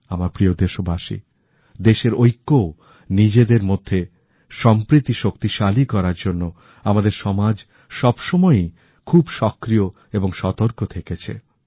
আমার প্রিয় দেশবাসী দেশের ঐক্য ও সেই সংক্রান্ত চিন্তাকে শক্তিশালী করার জন্য আমাদের সমাজ সবসময়ই খুব সক্রিয় এবং সতর্ক থেকেছে